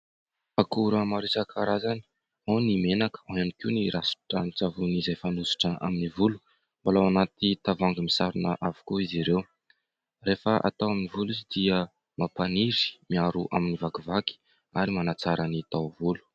Akora maro isankarazany : ao ny menaka ao ihany koa ny ranon-tsavony izay fanosotra amin'ny volo, mbola ao anaty tavoahangy misarona avokoa izy ireo. Rehefa atao amin'ny volo izy dia mampaniry? miaro amin'ny vakivaky ary manatsara ny taovolo.